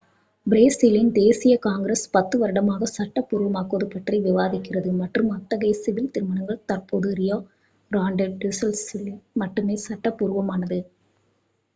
பிரேசிலின் தேசிய காங்கிரஸ் 10 வருடமாக சட்டபூர்வமாக்குவது பற்றி விவாதிக்கிறது மற்றும் அத்தகைய சிவில் திருமணங்கள் தற்பொழுது ரியோ கிராண்டே டோ சுல் லில் மட்டுமே சட்ட பூர்வமானது